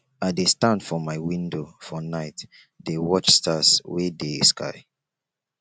i dey stand for my window for night dey watch stars wey dey sky